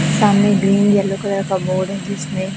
सामने green yellow colour का board --